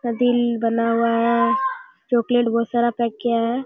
ऐसा दिल बना हुआ है चॉकलेट बहुत सारा पैक किया है।